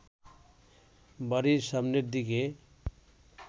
বাড়ির সামনের দিকে